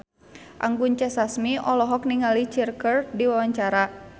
Anggun C. Sasmi olohok ningali Cher keur diwawancara